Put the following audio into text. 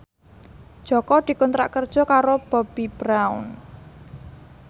Jaka dikontrak kerja karo Bobbi Brown